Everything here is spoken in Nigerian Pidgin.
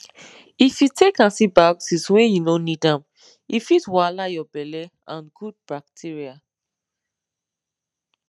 if you take antibiotics when you no need am e fit wahala your belle and good bacteria